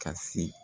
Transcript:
Ka se